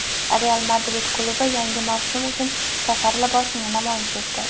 "Real Madrid" klubi yangi mavsum uchun safar libosini namoyish etdi.